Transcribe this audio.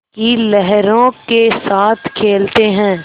की लहरों के साथ खेलते हैं